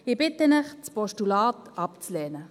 Ich bitte Sie, das Postulat abzulehnen.